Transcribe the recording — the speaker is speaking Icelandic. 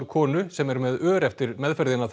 konu sem er með ör eftir meðferðina